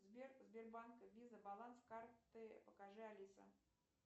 сбер сбербанк виза баланс карты покажи алиса